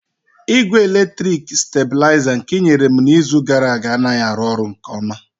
Igwe eletriki stabilizer nke i nyere m n'izu gara aga anaghị arụ ọrụ nke ọma